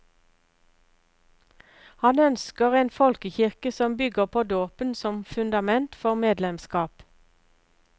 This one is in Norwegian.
Han ønsker en folkekirke som bygger på dåpen som fundament for medlemskap.